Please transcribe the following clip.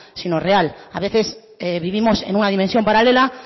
sino real a veces vivimos en una dimensión paralela